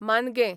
मानगें